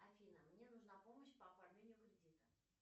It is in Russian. афина мне нужна помощь по оформлению кредита